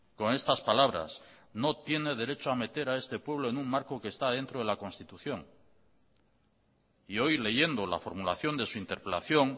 con estas palabras no tiene derecho a meter a este pueblo en un marco que está dentro de la constitución y hoy leyendo la formulación de su interpelación